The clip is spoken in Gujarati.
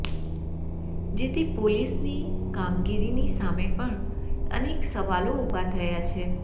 જેથી પોલીસની કામગીરી સામે પણ અનેક સવાલો ઉભા થયા છે